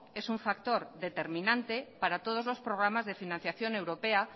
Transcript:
es un factor determinante para todos los programas de financiación europea